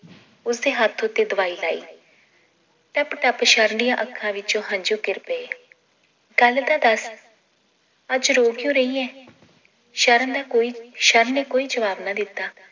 ਉਸਦੇ ਹੱਥ ਉੱਤੇ ਦਵਾਈ ਲਾਈ ਟੱਪ ਟੱਪ ਸ਼ਰਨ ਦੀਆਂ ਅੱਖਾਂ ਵਿਚੋਂ ਹੰਜੂ ਗਿਰ ਪਏ ਗੱਲ ਤਾਂ ਦੱਸ ਅੱਜ ਰੋ ਕ੍ਯੂਂ ਰਈ ਏਂ ਸ਼ਰਨ ਦਾ ਕੋਈ ਸ਼ਰਨ ਨੇ ਕੋਈ ਜਵਾਬ ਨਾ ਦਿੱਤਾ